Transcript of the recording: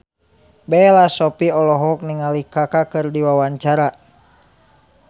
Bella Shofie olohok ningali Kaka keur diwawancara